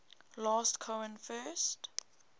last cohen first